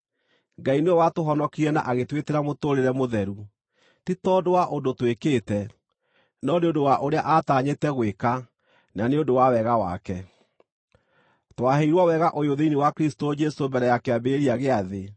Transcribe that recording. Ngai nĩwe watũhonokirie na agĩtwĩtĩra mũtũũrĩre mũtheru, ti tondũ wa ũndũ twĩkĩte, no nĩ ũndũ wa ũrĩa aatanyĩte gwĩka na nĩ ũndũ wa wega wake. Twaheirwo wega ũyũ thĩinĩ wa Kristũ Jesũ mbere ya kĩambĩrĩria gĩa thĩ,